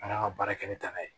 An y'an ka baara kɛ ni taa n'a ye